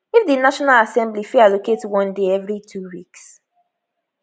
if di national assembly fit allocate one day evri two weeks